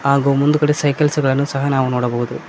ಹಾಗು ಮುಂದ್ಗಡೆ ಸೈಕಲ್ಸ್ ಗಳನ್ನು ಸಹ ನೋಡಬಹುದು.